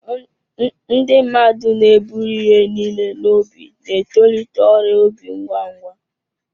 Ndị mmadụ na-eburu ihe niile n'obi na-etolite ọrịa obi ngwa ngwa.